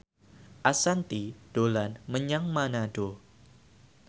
Ashanti dolan menyang Manado